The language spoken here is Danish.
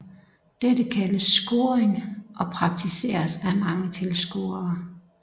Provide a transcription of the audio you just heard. Dette kaldes scoring og praktiseres af mange tilskuere